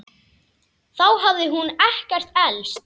Þá hafði hún ekkert elst.